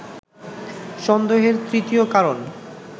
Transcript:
সন্দেহের তৃতীয় কারণ